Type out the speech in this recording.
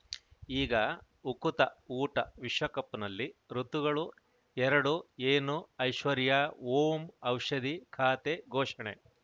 ಈಗ ಉಕುತ ಊಟ ವಿಶ್ವಕಪ್‌ನಲ್ಲಿ ಋತುಗಳು ಎರಡು ಏನು ಐಶ್ವರ್ಯಾ ಓಂ ಔಷಧಿ ಖಾತೆ ಘೋಷಣೆ